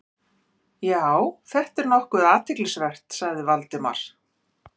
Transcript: Já, þetta er nokkuð athyglisvert- sagði Valdimar.